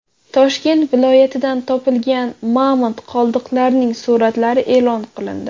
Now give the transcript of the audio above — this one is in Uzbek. Toshkent viloyatidan topilgan mamont qoldiqlarining suratlari e’lon qilindi.